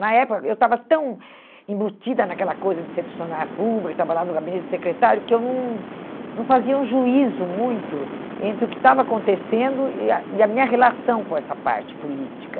Na época, eu estava tão embutida naquela coisa de ser funcionária pública, que estava lá no gabinete de secretário, que eu não não fazia um juízo muito entre o que estava acontecendo e a e a minha relação com essa parte política.